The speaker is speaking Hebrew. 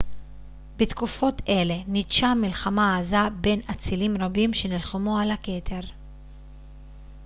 בתקופות אלה ניטשה מלחמה עזה בין אצילים רבים שנלחמו על הכתר